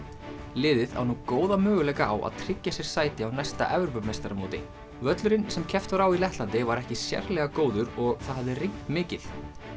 liðið á nú góða möguleika á að tryggja sér sæti á næsta Evrópumeistaramóti völlurinn sem keppt var á í Lettlandi var ekki sérlega góður og það hafði rignt mikið